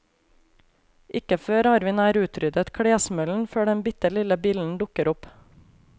Ikke før har vi nær utryddet klesmøllen før den bitte lille billen dukker opp.